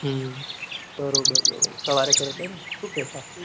હમ બરોબર બરોબર સવારે કર્યો હતો એમને સુ કેહતા